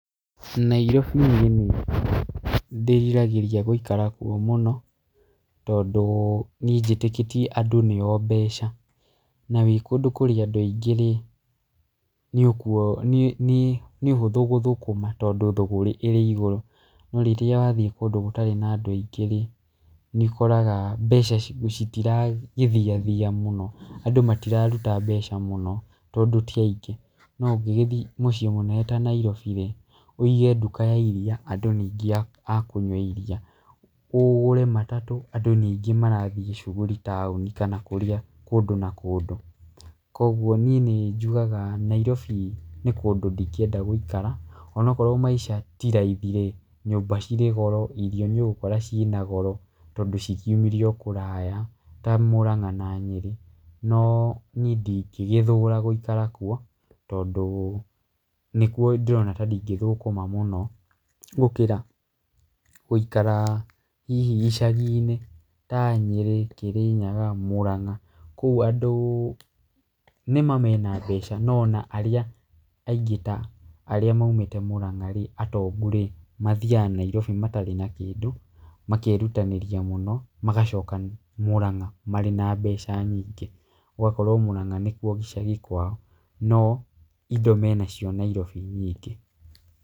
Nairobi niĩ nĩ ndĩriragĩria gũikara kuo mũno, tondũ niĩ njĩtĩkĩtie andũ nĩo mbeca, na wĩkũndũ kũrĩ andũ aingĩ rĩ, nĩkiuo nĩ nĩ nĩ ũhũthũ gũthũkũma tondũ thügũrĩ ĩrĩ igũrũ, no rĩrĩa wathiĩ kũndũ gũtarĩ na andũ aingĩ rĩ, nĩ ũkoraga mbeca citiragĩthiathia mũno, andũ mariraruta mbeca mũno, tondũ tiaingĩ, no ũngĩgĩthiĩ mũciĩ mũnene ta Nairobi rĩ, wĩge nduka ya iria, andũ nĩ aing a kũnyua iria, ũgũre matatũ andũ nĩ aingĩ marathiĩ cuguri taũni, kana kũrĩa kũndũ na kũndũ, koguo niĩ nĩ njugaga Nairobi nĩ kũndũ ndingĩenda gũikara, onokorwo maica ti raithi rĩ, nyũmba cirĩ goro, irio nĩ ũgũkora cinagoro, tondũ cikiumire o kũraya ta Muranga, na Nyeri, no niĩ ndingĩgĩthũra gũikara kuo, tondũ nĩkuo ndĩrona tandingĩthokũma mũno, gũkĩra gũikara hihi icagi-inĩ, ta Nyeri, Kirinyaga, Murang'a, kũu andũ nĩma mena mbeca no ona arĩa aingĩ ta arĩa maimĩte mũrang'a rĩ, atongu rĩ, mathiaga Nairobi matarĩ na kĩndũ, makerutanĩria mũno, magacoka Murang'a marĩ na mbeca nyingĩ, gũgakorwo Murang'a nĩkuo gĩcagi kwao, no indo menacio Nairobi nyingĩ.